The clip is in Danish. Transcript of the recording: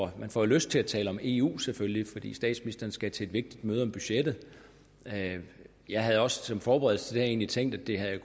at man får lyst til at tale om eu selvfølgelig fordi statsministeren skal til et vigtigt møde om budgettet jeg havde også som forberedelse til egentlig tænkt at det